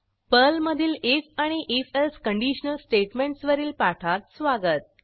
पर्लमधीलif आणि if else conditional statements वरील पाठात स्वागत